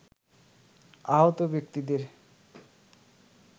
আহত ব্যক্তিদের